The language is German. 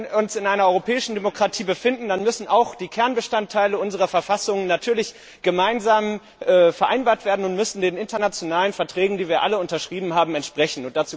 Wenn wir uns in einer europäischen Demokratie befinden, dann müssen natürlich auch die Kernbestandteile unserer Verfassungen gemeinsam vereinbart werden und müssten den internationalen Verträgen, die wir alle unterschrieben haben, entsprechen.